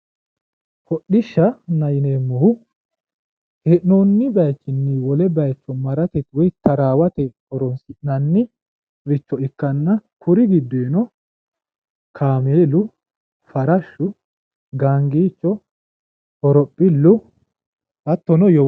Hodhishanna yineemohu hee'noonni bayiichinni wole bayiicho maratte woy taraawate horonsi'naniricho ikkanna kuri gidoyi kaameelu, farashu, gaagiicho, horopilu, hattonno yowolo.